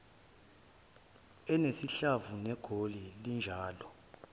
enesihlava negoli linjalo